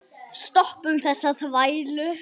Stoppum þessa þvælu.